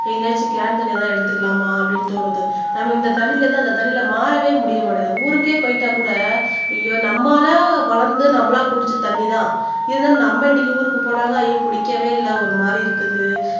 எங்கயாச்சும் கேன் தண்ணி ஏதும் எடுத்துக்கலாமா அப்படின்னு தோணுது நமக்கு இந்த தண்ணில இருந்து அந்த தண்ணிக்கு மாறவே முடிய மாட்டேங்குது ஊருக்கே போயிட்டா கூட நம்மளா வளந்து நம்மளா குடிச்ச தண்ணி தான் இருந்தாலும் நம்ம இன்னைக்கு ஊருக்கு போனாக்கா ஐயோ பிடிக்கவே இல்லை ஒரு மாதிரி இருக்குது